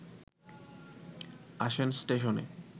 আসেন স্টেশনে